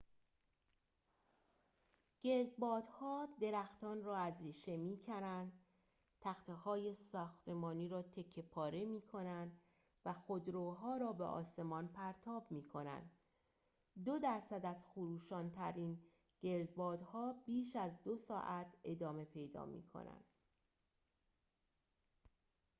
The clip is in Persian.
گردبادها درختان را از ریشه می‌کنند تخته‌های ساختمانی را تکه پاره می‌کنند و خودروها را به آسمان پرتاب می‌کنند دو درصد از خروشان‌ترین گردبادها بیش از دو ساعت ادامه پیدا می‌کنند